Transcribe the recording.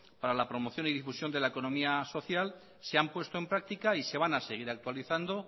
para la promoción y la difusión de la economía social se han puesto en práctica y se vana seguir actualizando